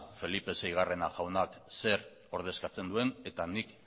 felipe seigarren jaunak zer ordezkatzen duen eta nik